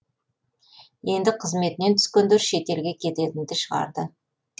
енді қызметінен түскендер шетелге кететінді шығарды